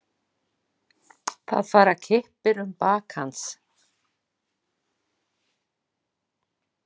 Það fara kippir um bak hans.